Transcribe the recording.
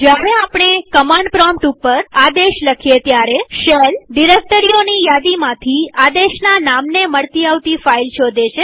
જયારે આપણે command prompt ઉપર આદેશ લખીએ ત્યારે શેલ ડિરેક્ટરીઓની યાદીમાંથી આદેશના નામને મળતી આવતી ફાઈલ શોધે છે